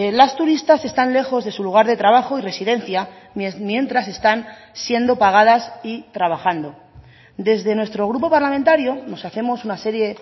las turistas están lejos de su lugar de trabajo y residencia mientras están siendo pagadas y trabajando desde nuestro grupo parlamentario nos hacemos una serie